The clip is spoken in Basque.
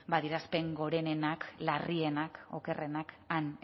adierazpen gorenenak larrienak okerrenak han